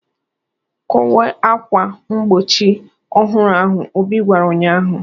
"Kowe akwa mgbochi ọhụrụ ahụ," Obi gwara ụnyaahụ.